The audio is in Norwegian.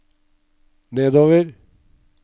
nedover